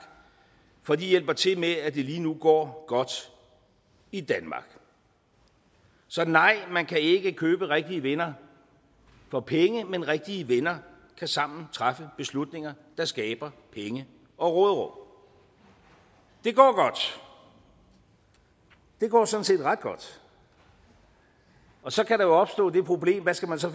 for de hjælper til med at det lige nu går godt i danmark så nej man kan ikke købe rigtige venner for penge men rigtige venner kan sammen træffe beslutninger der skaber penge og råderum det går godt det går sådan set ret godt og så kan der jo opstå det problem hvad skal man så